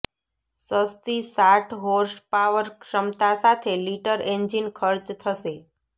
સસ્તી સાઠ હોર્સપાવર ક્ષમતા સાથે લિટર એન્જિન ખર્ચ થશે